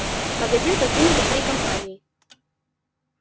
магазин покинули всей компанией